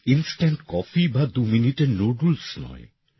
instant coffee বা দুমিনিটের noodles নয়